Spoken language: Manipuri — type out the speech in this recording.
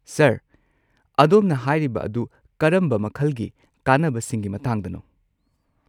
ꯁꯔ, ꯑꯗꯣꯝꯅ ꯍꯥꯏꯔꯤꯕ ꯑꯗꯨ ꯀꯔꯝꯕ ꯃꯈꯜꯒꯤ ꯀꯥꯟꯅꯕꯁꯤꯡꯒꯤ ꯃꯇꯥꯡꯗꯅꯣ?